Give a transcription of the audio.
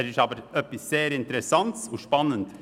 Er ist aber wirklich interessant und spannend.